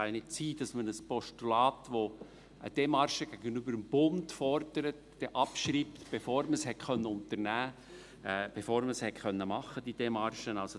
Es kann ja nicht sein, dass man ein Postulat, das eine Demarche gegenüber dem Bund fordert, abschreibt, bevor man sie unternehmen konnte, bevor man die Demarche machen konnte.